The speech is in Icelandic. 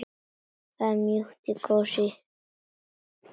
Það er mjúkt og kósí.